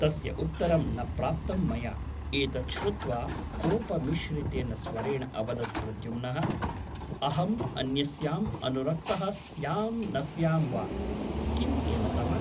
तस्य उत्तरं न प्राप्तं मया एतत् श्रुत्वा कोपमिश्रितेन स्वरेण अवदत् प्रद्युम्नः अहम् अन्यस्याम् अनुरक्तः स्यां न स्यां वा किं तेन तव ?